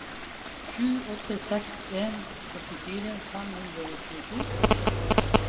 sju åtte seks en åttifire fem hundre og tjueto